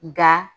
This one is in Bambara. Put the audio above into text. Nga